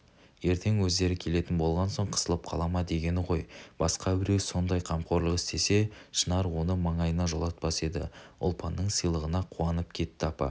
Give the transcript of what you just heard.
ертең өздері келетін болған соң қысылып қала ма дегені ғой басқа біреу сондай қамқорлық істесе шынар оны маңайына жолатпас еді ұлпанның сыйлығына қуанып кетті апа